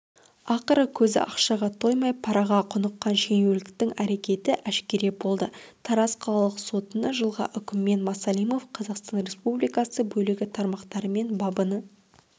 ақыры көзі ақшаға тоймай параға құныққан шенеуніктің әрекеті әшкере болды тараз қалалық сотыны жылғы үкімімен масалимов қазақстан республикасы бөлігі тармақтарымен бабыны